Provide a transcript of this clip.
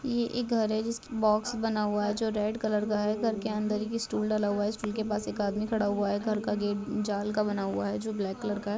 ये एक घर है जिसके बॉक्स बना हुआ है जो रेड कलर का है। घर के अंदर एक स्टूल डला हुआ है स्टूल के पास एक आदमी खड़ा हुआ है। घर का गेट जाल का बना हुआ जो ब्लैक कलर का है।